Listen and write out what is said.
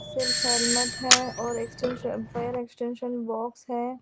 सिर्फ हेलमेट है और एक्सटेंशन फायर एक्सटेंशन बॉक्स है।